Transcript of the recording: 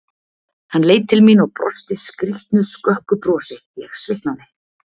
Hann leit til mín og brosti skrýtnu, skökku brosi, ég svitnaði.